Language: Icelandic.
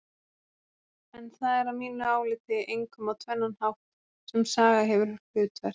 En það er að mínu áliti einkum á tvennan hátt sem saga hefur hlutverk.